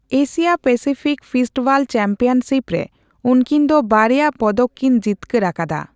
Asia Pacific fistball championship ᱨᱮ ᱩᱱᱠᱤᱱ ᱫᱚ ᱵᱟᱨᱭᱟ ᱯᱚᱫᱚᱠ ᱠᱤᱱ ᱡᱤᱛᱠᱟᱹᱨ ᱟᱠᱟᱫᱟ᱾